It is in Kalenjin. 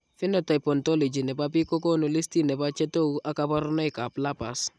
Phenotype ontology nebo biik kokoonu listini bo chetogu ab kaborunoik ab lupus